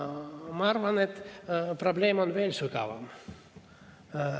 Ma arvan, et probleem on veel sügavam.